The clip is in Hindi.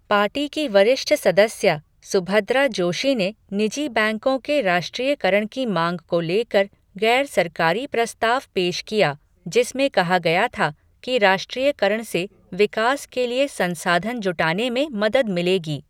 पार्टी की वरिष्ठ सदस्या, सुभद्रा जोशी ने निजी बैंकों के राष्ट्रीयकरण की माँग को लेकर गैर सरकारी प्रस्ताव पेश किया जिसमें कहा गया था कि राष्ट्रीयकरण से विकास के लिए संसाधन जुटाने में मदद मिलेगी।